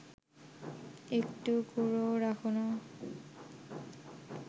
একটু গুঁড়োও রাখ না